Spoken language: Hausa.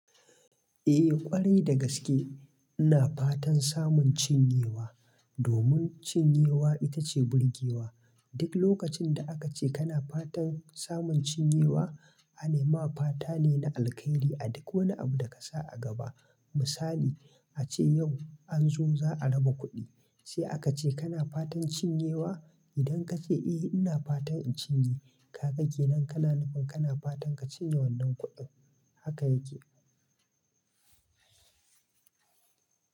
Eh ƙwarai dagaske ina fatan samun cinyewa, domin cinyewa itace burgewa. Duk lokacin da aka ce kana fatan samun cinyewa, anema fata ne na alkhairi a duk wani abu da ka sa a gaba. Misali, ace yau an zo za a raba kuɗi, sai aka ce kana fatan cinyewa? Idan ka ce eh ina fatan in cinye, ka ga kenan kana nufin kana fatan ka cinye wannan kuɗin. Haka yake.